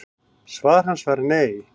Svar hans var nei.